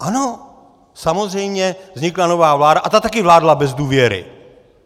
Ano, samozřejmě vznikla nová vláda a ta taky vládla bez důvěry.